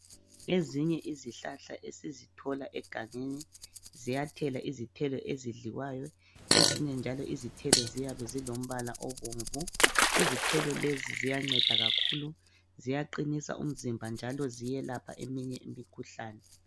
Ezinye izihlahla esizithola egangeni ziyathela izithelo ezidliwayo .Ezinye njalo izithelo ziyabe zilombala obomvu. Izithelo lezi ziyanceda kakhulu ziyaqinisa umzimba njalo ziyelapha eminye imikhuhlane.